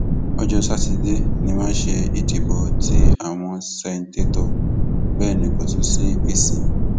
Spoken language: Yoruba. ọjọ sátidé ni wọn ṣe ìdìbò tí àwọn ṣèǹtẹtò bẹẹ ní kò tún sí èsì